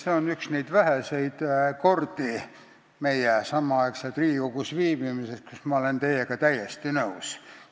See on üks neid väheseid kordi meie samaaegse Riigikogus viibimise jooksul, kui ma olen teiega täiesti nõus.